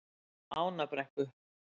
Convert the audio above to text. Ánabrekku